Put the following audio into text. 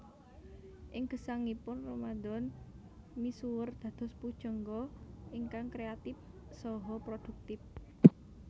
Ing gesangipun Ramadan misuwur dados pujangga ingkang kreatip saha produktip